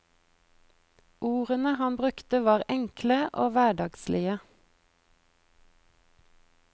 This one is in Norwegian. Ordene han brukte var enkle og hverdagslige.